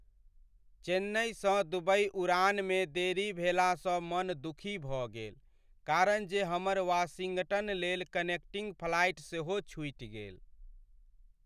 चेन्नइसँ Dubai उड़ानमे देरी भेलासँ मन दुखी भऽ गेल कारण जे हमर वाशिंगटन लेल कनेक्टिंग फ्लाइट सेहो छूटि गेल।